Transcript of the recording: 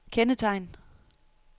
kendetegn